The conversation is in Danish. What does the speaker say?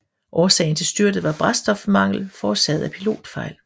Årsagen til styrtet var brændstofmangel forårsaget af pilotfejl